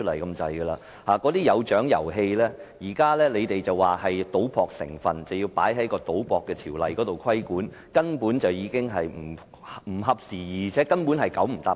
局方指出，那些有獎遊戲具賭博成分，應受《賭博條例》規管，根本不合時宜，"九唔搭八"。